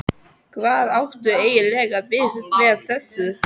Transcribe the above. Hvað áttu eiginlega við með þessu?